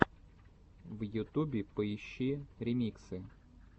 в ютубе поищи ремиксы